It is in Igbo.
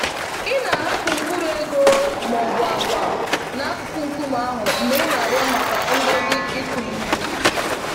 Ị na-ahapụ mkpụrụ ego ma ọ bụ agwa n'akụkụ nkume ahụ mgbe ị na-arịọ maka ngọzi ịkụ ihe.